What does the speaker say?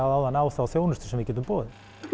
áðan á þá þjónustu sem við getum boðið